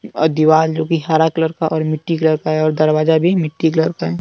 आ दिवाल जो कि हरा कलर का और मिट्टी कलर का है और दरवाजा भी मिट्टी कलर का है।